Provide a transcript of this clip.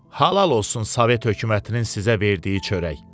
Halal olsun Sovet hökumətinin sizə verdiyi çörək.